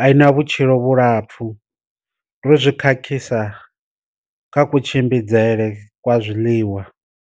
a i na vhutshilo vhulapfu, ndo zwi khakhisa kha ku tshimbidzele kwa zwiḽiwa.